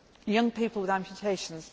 Young people with amputations